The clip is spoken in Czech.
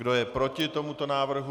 Kdo je proti tomuto návrhu?